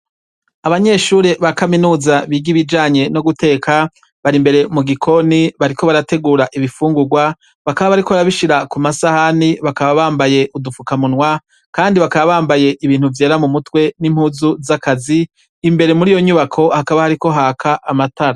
Abanyeshure ba kaminuza biga ibijanye no guteka, bari imbere mu gikoni bariko barategura ibifungurwa, bakaba bariko barabishira ku masahani, bakaba bambaye udufukamunwa kandi bakaba bambaye ibintu vyera mu mutwe n’impuzu z’akazi. Imbere muri iyo nyubako hakaba hariko haka amatara.